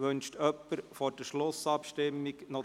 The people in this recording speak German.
Wünscht jemand vor der Schlussabstimmung das Wort?